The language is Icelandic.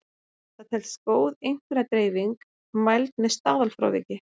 Það telst góð einkunnadreifing mæld með staðalfráviki.